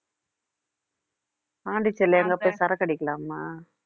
பாண்டிச்சேரில எங்க போய் சரக்கு அடிக்கலாமா